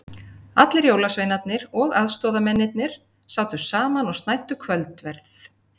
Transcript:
Allir jólasveinarnir og aðstoðamennirnir sátu saman og snæddu kvöldverð.